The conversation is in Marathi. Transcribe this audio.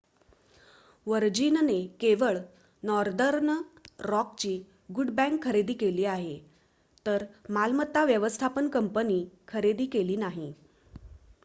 वर्जिनने केवळ नॉर्दर्न रॉकची गुड बँक' खरेदी केली आहे तर मालमत्ता व्यवस्थापन कंपनी खरेदी केली नाही